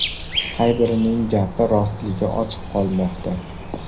Qay birining gapi rostligi ochiq qolmoqda.